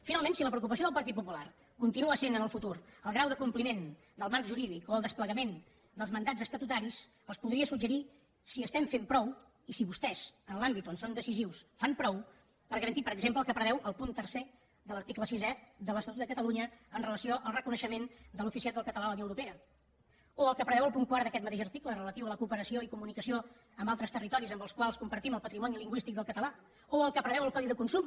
finalment si la preocupació del partit popular continua sent en el futur el grau de compliment del marc jurídic o el desplegament dels mandats estatutaris els podria suggerir si fem prou i si vostès en l’àmbit on són decisius fan prou per garantir per exemple el que preveu el punt tercer de l’article sisè de l’estatut de catalunya amb relació al reconeixement de l’oficialitat del català a la unió europea o el que preveu el punt quart d’aquest mateix article relatiu a la cooperació i comunicació amb altres territoris amb els quals compartim el patrimoni lingüístic del català o el que preveu el codi de consum